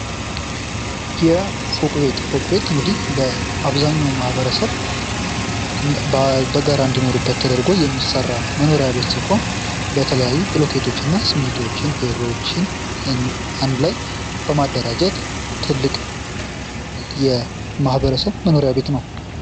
የ ፎቅ ቤት ፎቅ ቤት እንግዲህ ለአብዛኛው ማህበረሰብ በጋራ እንዲኖሩበት ተደርጎ የሚሰራ መኖሪያ ቤት ሲሆን በተለያዩ ብሎኬቶች እና ስሜንቶችን ፌሮዎችን አንድ ላይ በማደራጀት ትልቅ የማህበረሰብ መኖሪያ ቤት ነው።